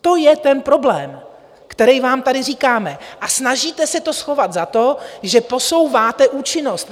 To je ten problém, který vám tady říkáme, a snažíte se to schovat za to, že posouváte účinnost.